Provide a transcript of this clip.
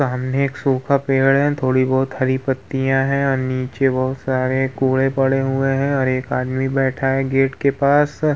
सामने एक सुखा पेड़ है। थोड़ी बोहोत हरी पत्तियां हैं। अ नीचे बहुत सारे कूड़े पड़े हुए हैं और एक आदमी बैठा है गेट के पास।